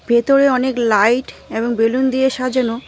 ভেতরে অনেক লাইট এবং বেলুন দিয়ে সাজানো।